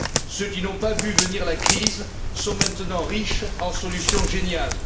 Ceux qui n'ont pas vu venir la crise sont maintenant riches en solutions géniales.